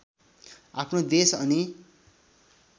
आफ्नो देश अनि